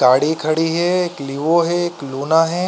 गाड़ी खड़ी है एक लियो है एक लोना है।